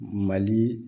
Mali